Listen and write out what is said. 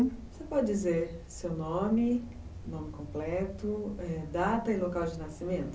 Você pode dizer seu nome, nome completo, data e local de nascimento?